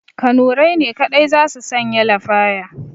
Kanurai ne kaɗai za su sanya lafaya